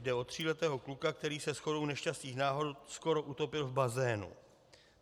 Jde o tříletého kluka, který se shodou nešťastných náhod skoro utopil v bazénu.